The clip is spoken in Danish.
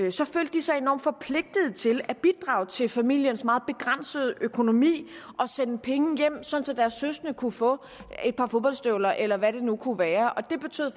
de sig enormt forpligtede til at bidrage til familiens meget begrænsede økonomi og sende penge hjem sådan at deres søskende kunne få et par fodboldstøvler eller hvad det nu kunne være og det betød